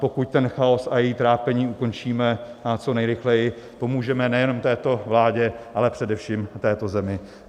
Pokud ten chaos a její trápení ukončíme co nejrychleji, pomůžeme nejenom této vládě, ale především této zemi.